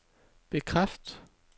bekræft